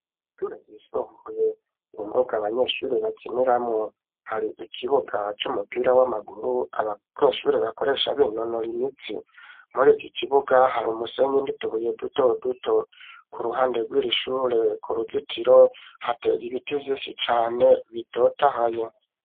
Ishure ryisumbuye imbuga abanyeshuri bakiniramwo hari ikibuga c'umupira w'amaguru abanyeshuri bakoresha binonora imitsi muri iki kibuga hari umusenyi nditubuye duto duto ku ruhande rw'irishure ku ruzitiro hatege ibiti vyinshi cane bitotahaye.